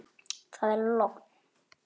Það er logn.